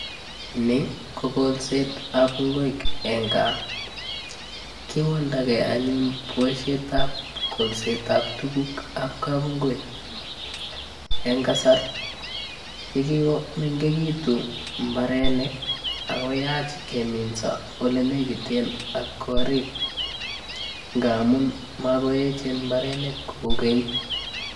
Ni kokolset ab ingwek en Kaa, kiwaldagee anyun boishetab kolset ab tukuk ab kabungui en kasar nekikomengekitun imbarenik akoyach keminso en olenekiten ak korik ngamun makoechen mbarenik koukeny.